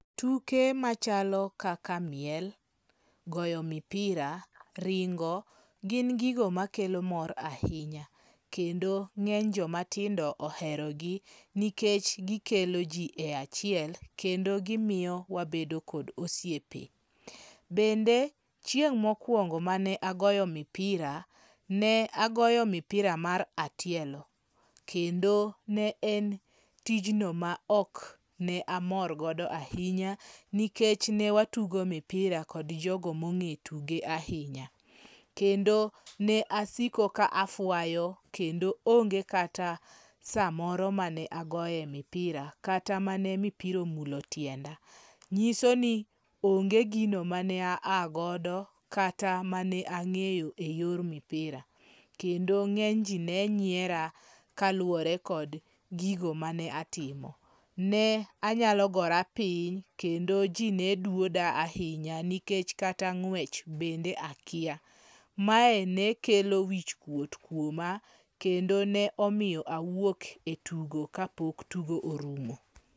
Tuke machalo kaka miel, goyo mipira, ringo gin gigo makelo mor ahinya. Kendi ng'eny jomatindo oherogi nikech gikelo ji e achiel kendo gimiyo wabedo kod osiepe. Bende chieng' mokwongo mane agoyo mipira, ne agoyo mipira mar atielo. Kendo ne en tijno ma ok ne amor godo ahinya nikech ne watugo mipira kod jogo mong'e tuge ahinya. Kendo ne asiko ka afwayo kendo onge kata sa moro mane agoye mipira kata mane mipira omulo tienda. Nyiso ni onge gino mane a a godo ka at mane ang'eyo e yor mipira. Kendo ng'eny ji ne nyiera kaluwore kod gigo mane atimo. Ne anyalo gora piny kendo ji neduoda ahinya nikech kata ng'wech bende akia. Mae ne kelo wich kuot kuoma. Kendo ne omiya awuok e tugo ka pok tugo orumo.